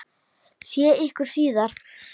Sé ykkur síðar.